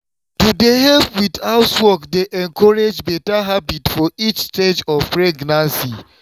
to dey help with housework dey encourage better habit for each stage of pregnancy.